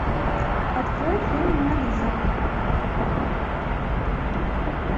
открой фильм мона лиза